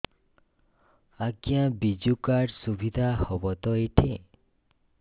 ଆଜ୍ଞା ବିଜୁ କାର୍ଡ ସୁବିଧା ହବ ତ ଏଠି